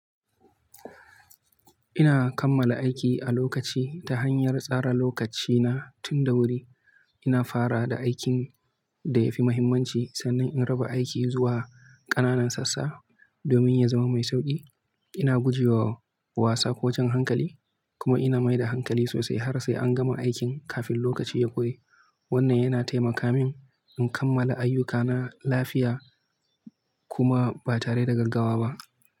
Ina kammala aiki a lokaci ta hanyar tsara lokacina tun da wuri. Ina fara da aikin da ya fi mahimmanci sannan in raba aiki zuwa ƙananan sassa domin ya zama mai sauƙi. Ina guje wa wasa ko jan hankali kuma ina mai da hankali sosai har sai an gama aikin kafin lokaci ya ƙure. Wannan yana taimaka min in kammala ayyukana lafiya kuma ba tare da gaggawa ba.